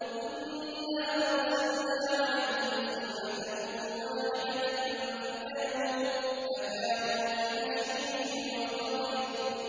إِنَّا أَرْسَلْنَا عَلَيْهِمْ صَيْحَةً وَاحِدَةً فَكَانُوا كَهَشِيمِ الْمُحْتَظِرِ